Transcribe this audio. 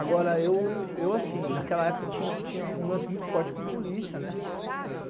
Agora, eu assim, naquela época tinha um lance muito forte com polícia, né?